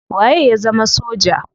Waye ya zama soja?